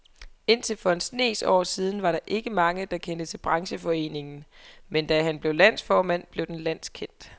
Indtil for en snes år siden var der ikke mange, der kendte til brancheforeningen, men da han blev landsformand, blev den landskendt.